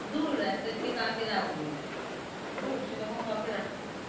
দুর এক~কাকে রাখব। সেই রকম কাউকে রাখিনি।